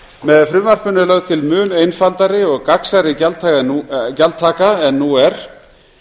með frumvarpinu er lögð til mun einfaldari og gagnsærri gjaldtaka en nú er